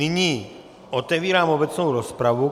Nyní otevírám obecnou rozpravu.